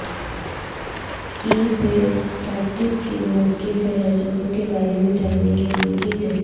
ای بے فکسڈ قیمت کی فہرستوں کے بارے میں جاننے کے لئے چیزیں